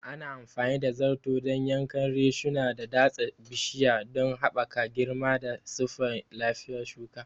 Ana amfani da zarto dan yankan reshuna da datsa bishiya don haɓaka girma da siffar lafiyar shuka.